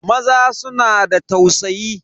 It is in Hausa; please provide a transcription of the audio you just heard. Maza suna da tausayi.